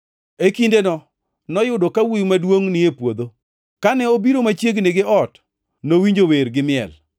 “E kindeno, noyudo ka wuowi maduongʼ ni e puodho. Kane obiro machiegni gi ot nowinjo wer gi miel.